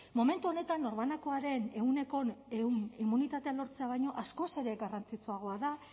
momentu honetan norbanakoaren ehuneko ehun immunitatea lortzea baino askoz ere garrantzitsuagoa da